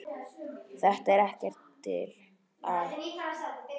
Þetta er ekkert til að.